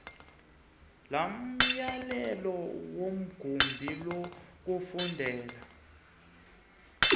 lomyalelo wegumbi lokufundela